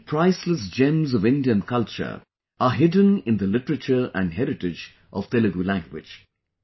Many priceless gems of Indian culture are hidden in the literature and heritage of Telugu language